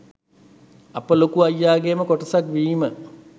අප ලොකු අයියාගේම කොටසක් වීම